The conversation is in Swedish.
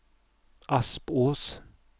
Aspås